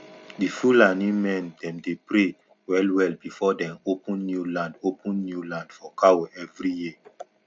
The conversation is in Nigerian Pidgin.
di fulani men dem dey pray wellwell before dem open new land open new land for cow every year